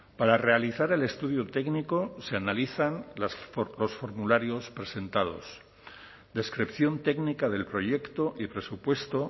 para realizar el estudio técnico se analizan los formularios presentados descripción técnica del proyecto y presupuesto